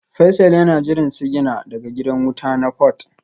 Faisal yana jiran sigina daga gidan wuta na Port